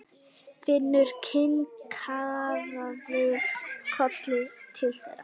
Finnur kinkaði kolli til þeirra.